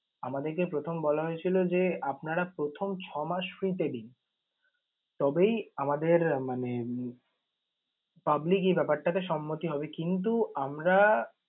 আমাদের প্রথম বলা হয়েছিল যে, আপনারা প্রথম ছয় মাস free তে দিন। তবেই আমাদের মানে public এই ব্যাপারটা তে সম্মতি হবে কিন্তু আমরা